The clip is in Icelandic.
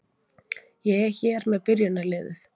Ég er hér með byrjunarliðið.